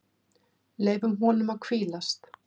Leyfum honum að hvílast.